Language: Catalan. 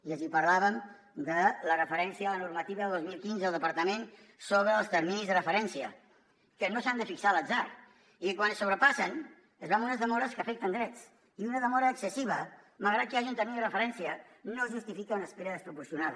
i els parlàvem de la referència a la normativa del dos mil quinze del departament sobre els terminis de referència que no s’han de fixar a l’atzar i quan es sobrepassen es va amb unes demores que afecten drets i una demora excessiva malgrat que hi hagi un termini de referència no justifica una espera desproporcionada